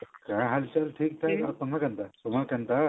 କଣା ହାଲଚାଲ ଠିକଠାକ ଆପଣଙ୍କର କେନ୍ତା ତୁମର କେନ୍ତା